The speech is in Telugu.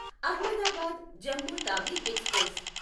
అహ్మదాబాద్ జమ్ము తావి ఎక్స్ప్రెస్